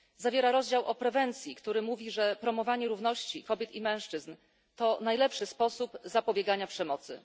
Zawiera rozdział o prewencji, który mówi, że promowanie równości kobiet i mężczyzn to najlepszy sposób zapobiegania przemocy.